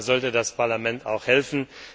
Da sollte das Parlament auch helfen.